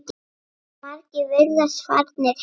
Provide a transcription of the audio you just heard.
Margir virðast farnir heim.